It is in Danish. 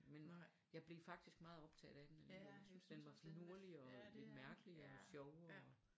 Men jeg blev faktisk meget optaget af den alligevel jeg synes den var finurlig og lidt mærkelig og sjov og